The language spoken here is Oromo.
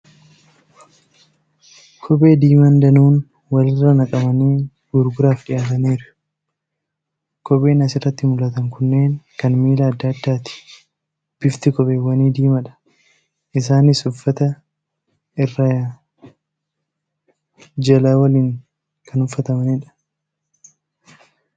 Kophee diimaan danuun wal irra naqamanii gurguraaf dhiyaatanii jiru . Kopheen as irratti mul'atan kunneen kan miila adda addaati. Bifti kopheewwanii diimaadha. Isaanis uffata irraa jala waliin kan uffatamaniidha .